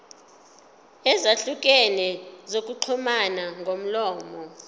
ezahlukene zokuxhumana ngomlomo